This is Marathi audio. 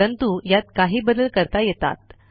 परंतु यात काही बदल करता येतात